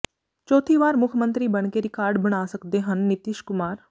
ਚੌਥੀ ਵਾਰ ਮੁੱਖ ਮੰਤਰੀ ਬਣ ਕੇ ਰਿਕਾਰਡ ਬਣਾ ਸਕਦੇ ਹਨ ਨਿਤੀਸ਼ ਕੁਮਾਰ